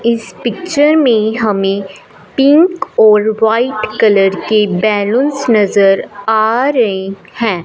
इस पिक्चर में हमें पिक और वाइट कलर की बेलून्स नजर आ रही हैं।